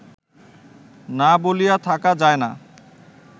না বলিয়া থাকা যায় না!